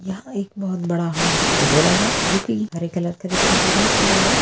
यहाँ एक बहुत बड़ा हॉल दिखाई दे रहा है जोकि हरे कलर का दिखाई दे रहा है पूरा हॉल |